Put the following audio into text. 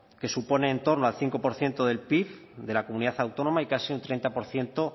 que supone en torno al cinco por ciento del pib de la comunidad autónoma y casi el treinta por ciento